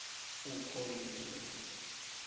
ukholiwe